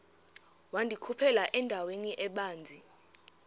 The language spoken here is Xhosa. wandikhuphela endaweni ebanzi